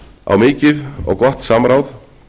á mikið og gott samráð